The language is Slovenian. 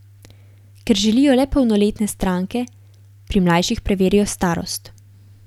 Ker želijo le polnoletne stranke, pri mlajših preverijo starost.